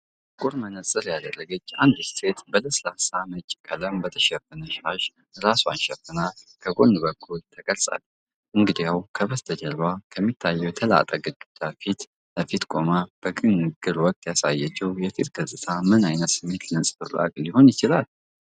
ጥቁር መነጽር ያደረገች አንዲት ሴት በለስላሳ ነጭ ቀለም በተሸፈነ ሻሽ ራሷን ሸፍና ከጎን በኩል ተቀርጻለች፤ እንግዲያው፣ ከበስተጀርባው ከሚታየው የተላጠ ግድግዳ ፊት ለፊት ቆማ በንግግር ወቅት ያሳየችው የፊት ገጽታ ምን አይነት ስሜት ነጸብራቅ ሊሆን ይችላል?